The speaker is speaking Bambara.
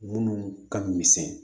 Munnu ka misɛn